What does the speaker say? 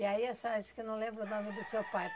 E aí a senhora disse que não lembra o nome do seu pai.